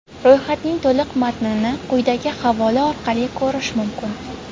Ro‘yxatning to‘liq matnini quyidagi havola orqali ko‘rish mumkin.